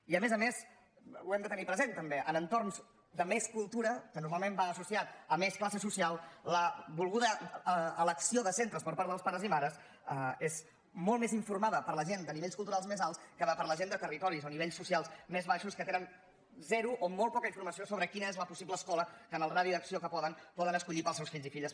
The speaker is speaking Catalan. i a més a més ho hem de tenir present també en entorns de més cultura que normalment va associat a més classe social la volguda elecció de centres per part dels pares i mares és molt més informada per a la gent de nivells culturals més alts que per la gent de territoris o nivells socials més baixos que tenen zero o molt poca informació sobre quina és la possible escola que en el radi d’acció que poden poden escollir per als seus fills i filles